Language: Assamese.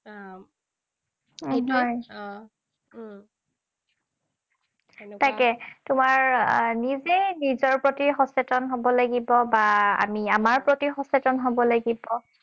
তাকে, তোমাৰ নিজেই নিজৰ প্ৰতি সচেতন হব লাগিব, বা আমি আমাৰ প্ৰতি সচেতন হব লাগিব।